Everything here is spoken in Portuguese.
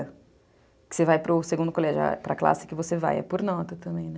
Que você vai para o segundo colegial, para classe que você vai, é por nota também.